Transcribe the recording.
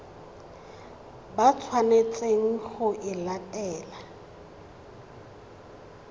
ba tshwanetseng go e latela